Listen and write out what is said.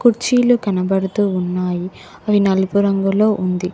కుర్చీలు కనబడుతూ ఉన్నాయి అవి నలుపు రంగులో ఉంది.